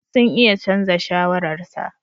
Sun iya canza shawararsa.